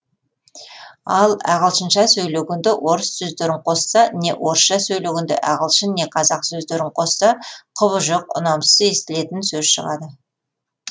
ал ағылшынша сөйлегенде орыс сөздерін қосса не орысша сөйлегенде ағылшын не қазақ сөздерін қосса құбыжық ұнамсыз естілетін сөз шығады